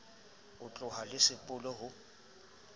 e tlohang le sepolo ho